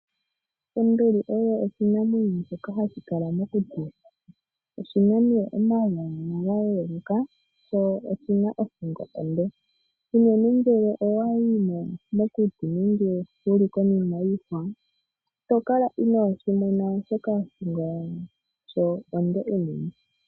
Onduli oyo oshinamwenyo shoka hashi kala mokuti. Oshina nduno omagulu ga yeluka nothingo onde. Ngele owayi mokuti nenge wuli konima yiihwa, itokala inoshimona oshoka othingo yasho onde unene.